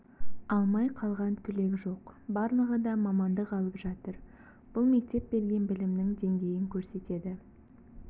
алмай қалған түлек жоқ барлығы да мамандық алып жатыр бұл мектеп берген білімнің деңгейін көрсетеді